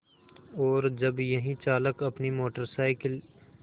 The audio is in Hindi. और जब यही चालक अपनी मोटर साइकिल